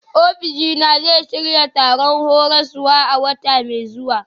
Ofishina zai shirya taron horaswa a wata mai zuwa.